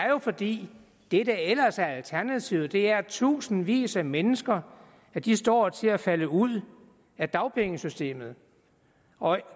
jo fordi det der ellers er alternativet er at tusindvis af mennesker står til at falde ud af dagpengesystemet og